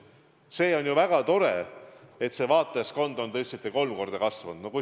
See on ju väga tore, et see vaatajaskond on, nagu te ütlesite, kolm korda kasvanud.